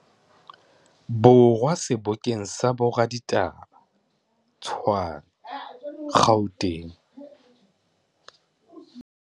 Borwa sebokeng sa boraditaba, Tshwane, Gauteng.